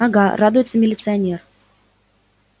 ага радуется милиционер